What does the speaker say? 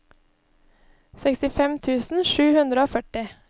sekstifem tusen sju hundre og førti